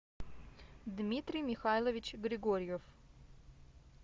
дмитрий михайлович григорьев